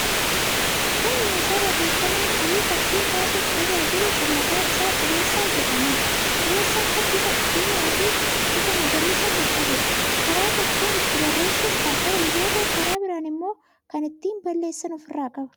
Kun meeshaa barreeffamaa fi fakkii kaasuuf tajaajilu kan maqaan isaa qubeessaa jedhamuudha. Qubeessaan kun bifa diimaa fi bifa magariisa kan qabuudha. Karaa tokkoon ittiin barreessuuf kan oolu yoo ta'u, karaa biraan immoo kan ittiin balleessan ofirraa qaba.